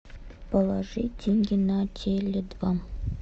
положи деньги на теле два